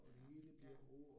Ja, ja